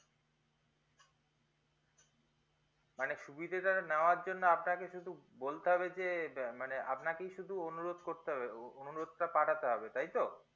মানে সুবিধাটা নেওয়ার জন্য আপনাকে সুধু বলতে হবে যে আপনাকে সুধু অনুরোধ করতে হবে অনুরোধটা পাঠাতে হবে তাই তো